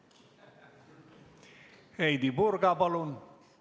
Heidy Purga, palun!